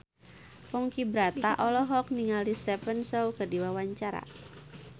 Ponky Brata olohok ningali Stephen Chow keur diwawancara